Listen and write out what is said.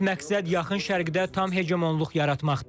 Əsas məqsəd yaxın Şərqdə tam heqemonluq yaratmaqdır.